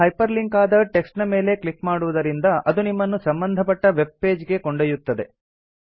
ಈಗ hyperlink ಆದ text ನ ಮೇಲೆ ಕ್ಲಿಕ್ ಮಾಡುವುದರಿಂದ ಅದು ನಿಮ್ಮನ್ನು ಸಂಬಂಧಪಟ್ಟ ವೆಬ್ ಪೇಜ್ ಗೆ ಕೊಂಡೊಯ್ಯುತ್ತದೆ